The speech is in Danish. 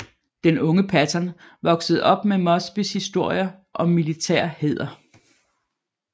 Den unge Patton voksede op med Mosbys historier om militær hæder